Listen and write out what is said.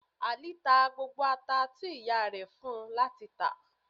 Ali ta gbógbó atá ti iyá rẹ fún u lati tà.